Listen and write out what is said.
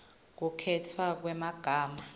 kukhetfwa kwemagama